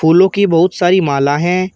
फूलों की बहुत सारी माला हैं।